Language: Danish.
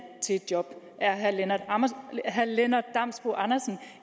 til et job er herre lennart damsbo andersen